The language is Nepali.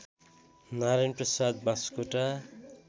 नारायण प्रसाद बासकोटा